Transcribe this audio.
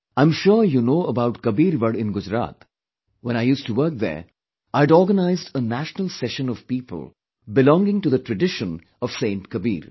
I am sure you know about Kabirwad in Gujarat when I used to work there, I had organized a National session of people belonging to the tradition of saint Kabir